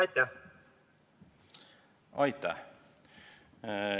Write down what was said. Aitäh!